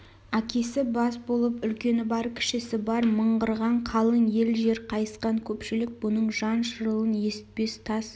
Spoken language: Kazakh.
әкесі бас болып үлкені бар кішісі бар мыңғырған қалың ел жер қайысқан көпшілік бұның жан шырылын есітпес тас